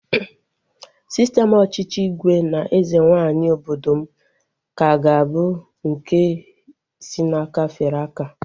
Sistem ọchịchị ígwè na eze nwaanyị obodo m ka ga-abụ nke si n'aka fere aka